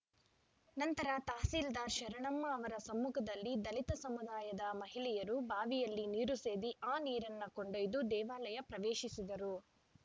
ನಂತರ ತಹಸೀಲ್ದಾರ್‌ ಶರಣಮ್ಮ ಅವರ ಸಮ್ಮುಖದಲ್ಲಿ ದಲಿತ ಸಮುದಾಯದ ಮಹಿಳೆಯರು ಬಾವಿಯಲ್ಲಿ ನೀರು ಸೇದಿ ಆ ನೀರನ್ನು ಕೊಂಡೊಯ್ದು ದೇವಾಲಯ ಪ್ರವೇಶಿಸಿದರು